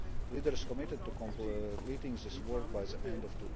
Leaders committed to completing this work by the end